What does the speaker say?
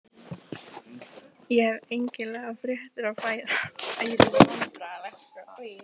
Ég hef einkennilegar fréttir að færa sagði hann og settist á rúmið hjá